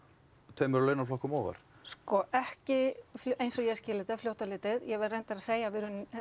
tveimur launaflokkum ofar sko ekki eins og ég skil þetta fljótt á litið ég verð reyndar að segja að við erum